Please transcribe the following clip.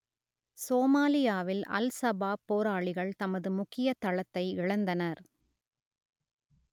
சோமாலியாவில் al Shabaab போராளிகள் தமது முக்கிய தளத்தை இழந்தனர்